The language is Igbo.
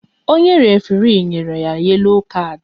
Onye référé nyere ya yelo kard